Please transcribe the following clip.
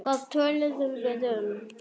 Hvað töluðum við um?